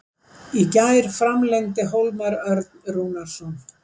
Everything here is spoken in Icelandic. Í gær framlengdi Hólmar Örn Rúnarsson.